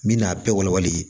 N bɛna a bɛɛ walawala de